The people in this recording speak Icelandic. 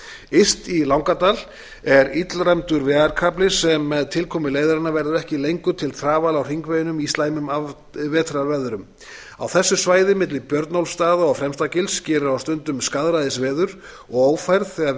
yst í langadal er illræmdur vegarkafli sem með tilkomu leiðarinnar verður ekki lengur til trafala á hringveginum í slæmum vetrarveðrum á þessu svæði milli björnólfsstaða og fremstagils gerir á stundum skaðræðisveður og ófærð þegar